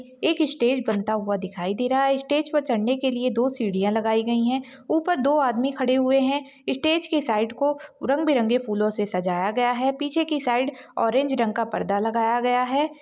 एक स्टेज बनता हुआ दिखाई दे रहा है स्टेज पर चढ़ने के लिए दो सीढ़ियां लगाई गई है ऊपर दो आदमी खड़े हुए हैं स्टेज के साइड को रंग बिरंगे फूलों से सजाया गया है पीछे की साइड ऑरेंज रंग का पर्दा लगाया गया है।